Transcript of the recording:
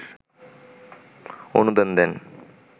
অনুদান দেন